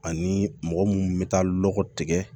Ani mɔgɔ munnu bɛ taa lɔgɔ tigɛ